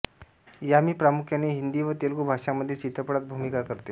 यामी प्रामुख्याने हिंदी व तेलुगू भाषांमधील चित्रपटांत भूमिका करते